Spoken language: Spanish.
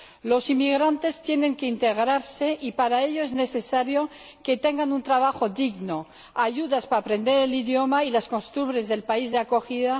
Los inmigrantes tienen que integrarse y para ello es necesario que tengan un trabajo digno y ayudas para aprender el idioma y las costumbres del país de acogida